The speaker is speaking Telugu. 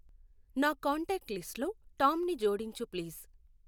నా కాంటాక్ట్ లిస్ట్ లో టామ్ ని జోడించు ప్లీజ్.